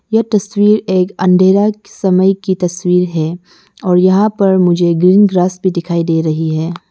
यह तस्वीर एक अंधेरा समय की तस्वीर है और यहां पर मुझे ग्रीन ग्रास भी दिखाई दे रही है।